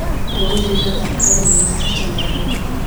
Ndagũthaitha thaka thinema ya Jalagũ .